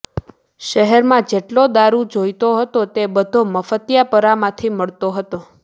શહેરમાં જેટલો દારુ જોઈતો હતો એ બધો મફતીયાપરામાંથી મળતો હતો